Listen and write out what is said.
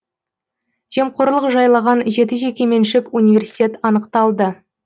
жемқорлық жайлаған жеті жекеменшік университет анықталды